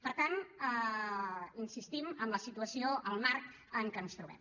per tant insistim en la situació el marc en què ens trobem